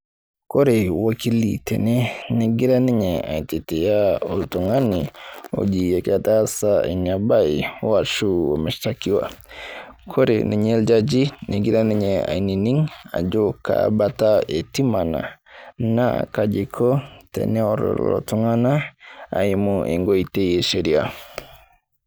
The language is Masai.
Ore olkili tenegira ninye aitetea oltung'ani, oji ketaasa Ina bae aashu oimestakiwa kore ninye oljaji negira ninye ainining' ajo kaa Bata etii mang'a naa kaji eiko teneorr lelo Tung'anak eimu enkoitoi esheria.